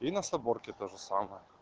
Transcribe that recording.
и на соборке тоже самое